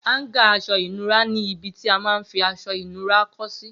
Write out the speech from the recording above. Háńgà aṣọ ìnura ni ibi tí a man fi aṣọ ìnura kọ́ sí